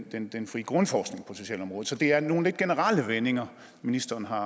den den frie grundforskning på socialområdet så det er nogle lidt generelle vendinger ministeren har